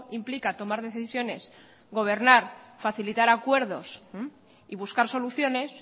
implica tomar decisiones gobernar facilitar acuerdos y buscar soluciones